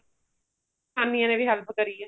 ਜਨਾਨੀਆ ਨੇ ਵੀ help ਕਰੀ ਏ